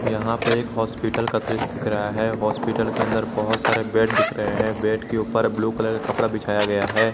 यहां पे एक हॉस्पिटल का दृश्य दिख रहा है हॉस्पिटल के अंदर बहुत सारे बेड दिख रहे हैं बेड के ऊपर ब्लू कलर कपड़ा बिछाया गया है।